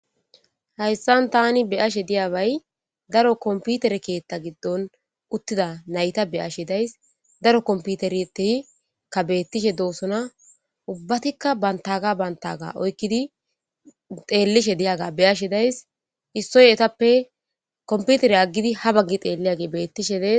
hayssan tani be'ashe diyabay daro komputere keetta giddon uttida nayta be'ashe days daro komputeretehikka beettishe doosona ubbatikka bantaga bantaga oykkidi xeellishe diyaga be'ashe days issoy etappe komputere aggidi ha baggi xeelliage beettishe dees